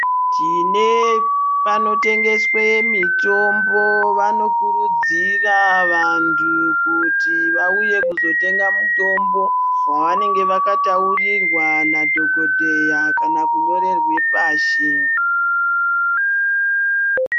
Tine panotengeswe mitombo vanokurudzira vantu kuti vauye kuzotenga mutombo wavanenge vakataurirwa nadhokotera kana kunyorerwe pashi .